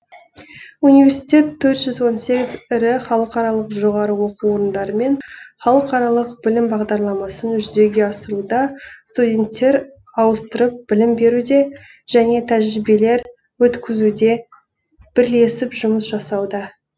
университет төрт жүз он сегіз ірі халықаралық жоғары оқу орындарымен халықаралық білім бағдарламасын жүзеге асыруда студенттер ауыстырып білім беруде және тәжірибелер өткізуде бірлесіп жұмыс жасауда